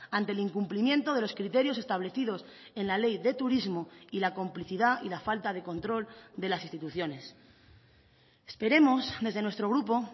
ante el incumplimiento de los criterios establecidos en la ley de turismo y la complicidad y la falta de control de las instituciones esperemos desde nuestro grupo